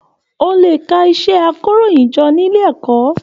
O lè kà iṣẹ àkòróyinjọ́ nílé ẹ̀kọ́.